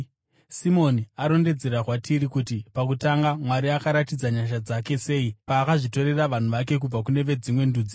Simoni arondedzera kwatiri kuti pakutanga Mwari akaratidza nyasha dzake sei paakazvitorera vanhu vake kubva kune veDzimwe Ndudzi.